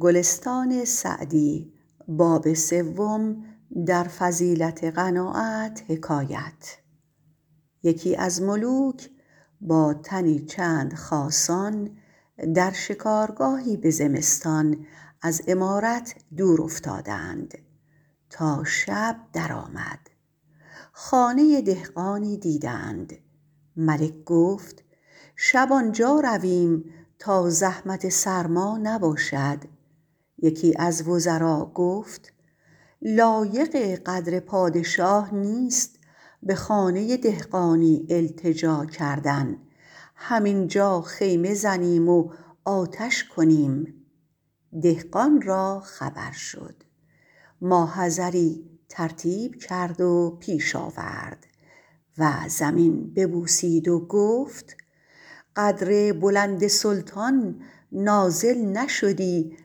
یکی از ملوک با تنی چند خاصان در شکارگاهی به زمستان از عمارت دور افتادند تا شب در آمد خانه دهقانی دیدند ملک گفت شب آنجا رویم تا زحمت سرما نباشد یکی از وزرا گفت لایق قدر پادشاه نیست به خانه دهقانی التجا کردن هم اینجا خیمه زنیم و آتش کنیم دهقان را خبر شد ما حضری ترتیب کرد و پیش آورد و زمین ببوسید و گفت قدر بلند سلطان نازل نشدی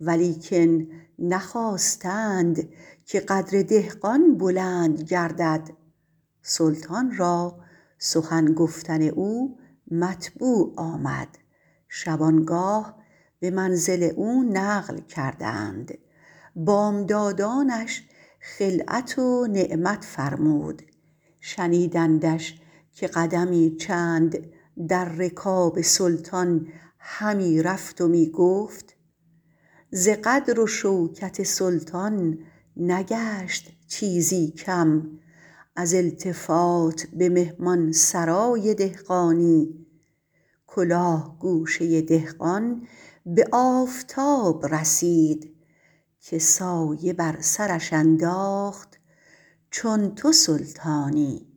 ولیکن نخواستند که قدر دهقان بلند گردد سلطان را سخن گفتن او مطبوع آمد شبانگاه به منزل او نقل کردند بامدادانش خلعت و نعمت فرمود شنیدندش که قدمی چند در رکاب سلطان همی رفت و می گفت ز قدر و شوکت سلطان نگشت چیزی کم از التفات به مهمان سرای دهقانی کلاه گوشه دهقان به آفتاب رسید که سایه بر سرش انداخت چون تو سلطانی